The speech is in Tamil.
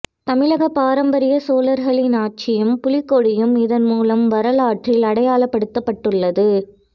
தமிழக பாரம்பரிய சோழர்களின் ஆட்சியும் புலிக்கொடியும் இதன்மூலம் வரலாற்றில் அடையாளப்படுத்தப்பட்டுள்ளது